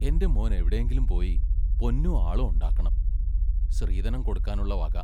എന്റെ മോൻ എവിടേങ്കിലും പോയി പൊന്നും ആളും ഒണ്ടാക്കണം, ശ്രീതനം കൊടുക്കാനുള്ള വക...